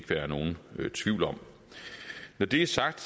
være nogen tvivl om når det er sagt